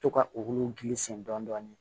To ka olu gilisi dɔɔnin